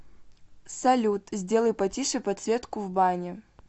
салют сделай потише подсветку в бане